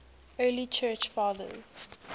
early church fathers